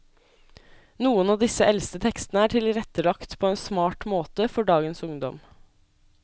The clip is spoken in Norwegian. Noen av disse eldste tekstene er tilrettelagt på en smart måte for dagens ungdom.